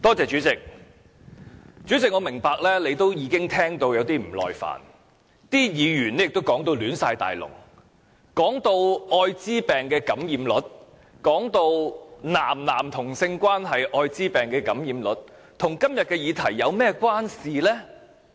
主席，我明白你已經聽到有點不耐煩，議員的發言已亂七八糟，提及愛滋病感染率、"男男"同性關係愛滋病感染率，這些與今天的議題有何關係？